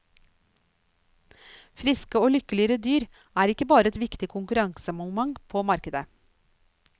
Friske og lykkelige dyr er ikke bare et viktig konkurransemoment på markedet.